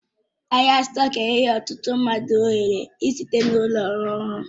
Ahịa stọku enyela ọtụtụ mmadụ ohere ị site n'ụlọ rụọ ọrụ